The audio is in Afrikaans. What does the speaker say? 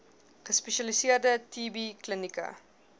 gespesialiseerde tb klinieke